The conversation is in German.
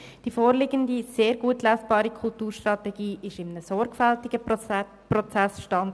Die vorliegende, sehr gut lesbare Kulturstrategie kam durch einen sorg fältigen Prozess zustande.